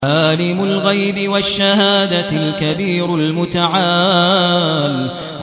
عَالِمُ الْغَيْبِ وَالشَّهَادَةِ الْكَبِيرُ الْمُتَعَالِ